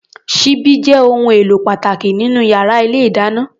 Ṣíbí jẹ́ ohun èlò pàtàkì nínú yàrá ilé-ìdáná.